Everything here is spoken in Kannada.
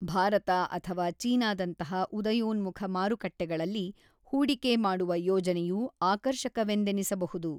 ಭಾರತ ಅಥವಾ ಚೀನಾದಂತಹ ಉದಯೋನ್ಮುಖ ಮಾರುಕಟ್ಟೆಗಳಲ್ಲಿ ಹೂಡಿಕೆ ಮಾಡುವ ಯೋಜನೆಯು ಆಕರ್ಷಕವೆಂದೆನಿಸಬಹುದು.